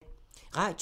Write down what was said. Radio 4